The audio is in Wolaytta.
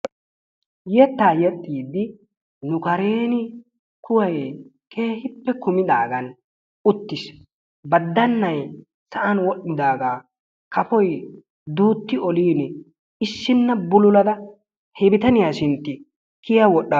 Yettaa yexxiiddi nu karen kuway keehippe kumidaagan uttis. Baddannay sa'an wodhdhidaagaa kafoy duutti olin issinna bululada he bitaniya sintti kiya wodhdhaasu.